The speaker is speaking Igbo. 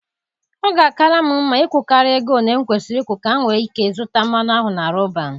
Ọ ga-akara m mma ịkwụkarịa ego ole m kwesịrị ụkwụ ka m nwee ike zụta mmanụ ahụ na Roban.